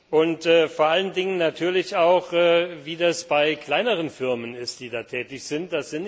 Und vor allen Dingen natürlich auch, wie das bei kleineren Firmen ist, die da tätig sind.